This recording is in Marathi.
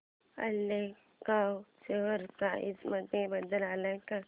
ऑलकार्गो शेअर प्राइस मध्ये बदल आलाय का